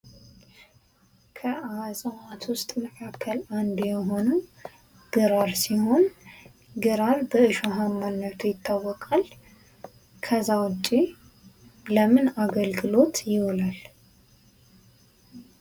ከዕፅዋት ውስጥ መካከል አንዱ የሆነው ግራር ሲሆን ግራር በእሾሀማነቱ ይታወቃል። ከዛ ውጭ ለምን አገልግሎት ይውላል?